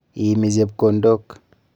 Iimi chepkondok.